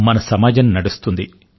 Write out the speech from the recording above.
మన సమాజం నడుస్తుంది